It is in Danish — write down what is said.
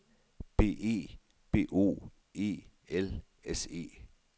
B E B O E L S E